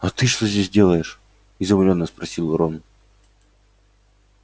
а ты что здесь делаешь изумлённо спросил рон